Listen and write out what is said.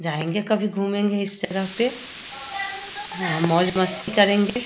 जाएँगे कभी घूमेंगे इस जगह पे मौज-मस्ती करेंगे ।